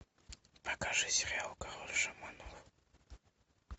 покажи сериал король шаманов